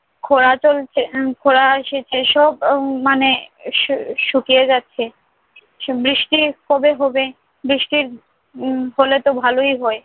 খরা চলছে, উম খরা এসেছে। সব উম মানে শু~ শুকিয়ে যাচ্ছে। বৃষ্টি কবে হবে? বৃষ্টির হম হলেতো ভালই হয়।